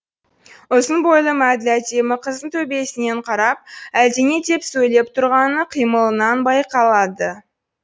ұзын бойлы мәділ әдемі қыздың төбесінен қарап әлдене деп сөйлеп тұрғаны қимылынан байқалады